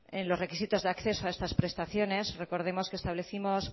en los requisitos de acceso a estas prestaciones recordemos que establecimos